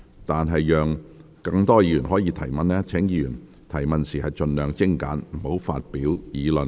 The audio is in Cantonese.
為讓更多議員提問，請議員提問時盡量精簡，不要發表議論。